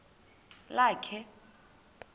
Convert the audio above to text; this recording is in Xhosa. lakhe